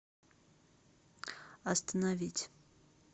остановить